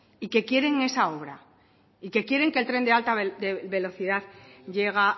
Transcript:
y que quieren esa obra y que quieren que el tren de alta velocidad llega a